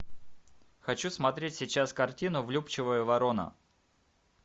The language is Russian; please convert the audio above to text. хочу смотреть сейчас картину влюбчивая ворона